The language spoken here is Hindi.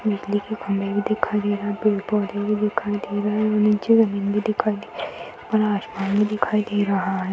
बिजली के खंभे भी दिखाई दे रहे। पेड़-पौधे भी दिखाई दे रहे हैं औ नीचे जमीन भी दिखाई दे रही है और आसमान भी दिखाई दे रहा है।